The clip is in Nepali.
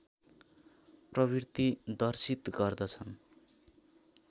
प्रवृत्ति दर्सित गर्दछ्न्